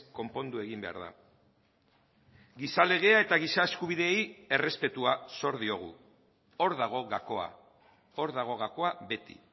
konpondu egin behar da giza legea eta giza eskubideei errespetua zor diogu hor dago gakoa hor dago gakoa beti